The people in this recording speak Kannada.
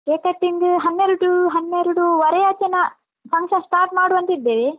cake cutting ಹನ್ನೆರಡು ಹನ್ನೆರಡುವರೆ ಆಚೆ ನಾ function start ಮಾಡುವ ಅಂತಿದ್ದೇವೆ.